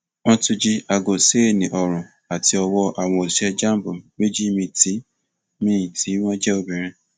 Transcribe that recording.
wọn tún jí aago ṣéènì ọrun àti ọwọ àwọn òṣìṣẹ jamb méjì míín tí míín tí wọn jẹ obìnrin